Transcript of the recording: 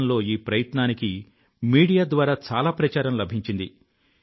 దేశంలో ఈ ప్రయత్నానికి మీడియా ద్వారా చాలా ప్రచారం లభించింది